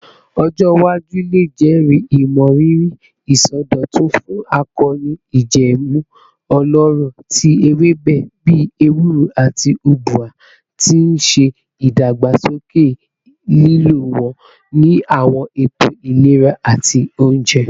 Ọjọ iwaju le jẹri imọriri isọdọtun fun akoonu ijẹẹmu ọlọrọ ti ewebe bii ewuro ati ubwa, ti n ṣe idagbasoke ilo wọn ni awọn eto ilera ati ounjẹ.